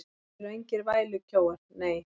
Þeir eru engir vælukjóar, nei.